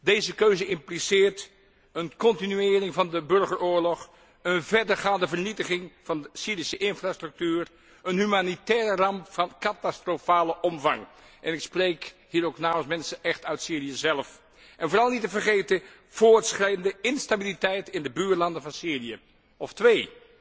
Deze keuze impliceert een continuering van de burgeroorlog, een verdergaande vernietiging van de Syrische infrastructuur, een humanitaire ramp van catastrofale omvang ik spreek hier ook namens mensen uit Syrië zelf en vooral niet te vergeten, voortschrijdende instabiliteit in de buurlanden van Syrië. Twee,